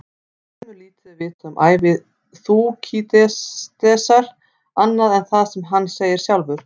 Fremur lítið er vitað um ævi Þúkýdídesar annað en það sem hann segir sjálfur.